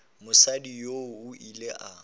mosadi yoo o ile a